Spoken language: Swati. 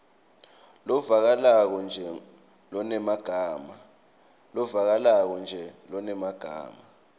lovakalako nje lonemagama